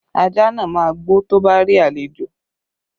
Ajá náà máa gbó tó bá rí àlejò